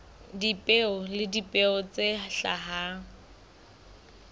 dipeo le dipeo tse hlahang